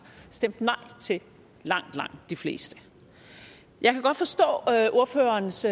stemt nej til langt langt de fleste jeg kan godt forstå ordførerens